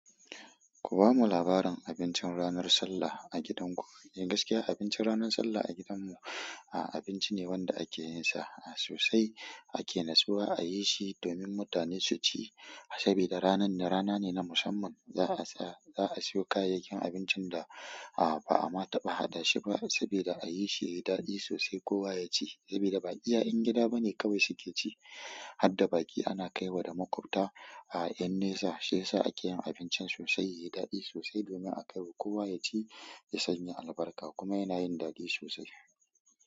Ku bamu labarin abincin ranar Sallah a gidanku. Eh gaskiya abincin ranar Sallah a gidan mu a-abinci ne wanda ake yinsa sosai. Ake natsuwa ayi shi domin mutane su ci, sabida ranan rana ne na musamman. Za a sa, za a siyo kayayyakin abincin da a ba a ma taɓa haɗashi ba sabida a yi shi yayi daɗi sosai kowa ya ci saboda ba iya ƴan gida bane kawai suke ci. Hadda baƙi ana kaiwa da maƙwabta a yan nrsa shiyasa a ke yin abincin sosai, yayi daɗi sosai domin a kai wa kowa ya ci, ya san ya albarka kuma yana yin daɗi sosai.